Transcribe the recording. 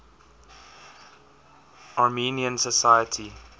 armenian society